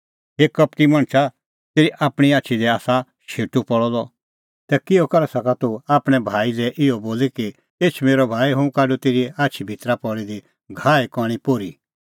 हे कपटी मणछा ज़ै तेरी आपणीं आछी ई आसा शेटू पल़अ द तै किहअ करै सका तूह आपणैं भाई लै इहअ बोली कि एछ मेरअ भाई हुंह काढूं तेरी आछी भितरी पल़ी दी घाहे कणीं पोर्ही